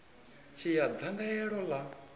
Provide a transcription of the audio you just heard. tshi ya nga dzangalelo ḽa